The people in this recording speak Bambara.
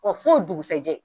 Ɔ fo dugusɛjɛ.